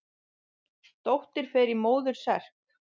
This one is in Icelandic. Dóttir fer í móður serk.